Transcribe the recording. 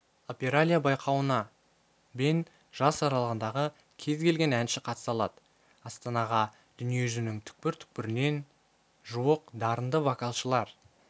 опералия байқауына бен жас аралығындағы кез келген әнші қатыса алады астанаға дүниежүзінің түкпір-түкпірінен жуық дарынды вокалшылар